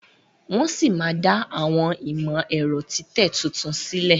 Wón sí má dá Àwọn imọ-ẹrọ titẹ títún sílè.